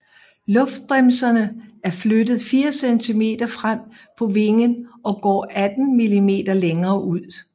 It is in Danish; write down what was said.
Luftbremserne er flyttet 4 cm frem på vingen og går 18 mm længere ud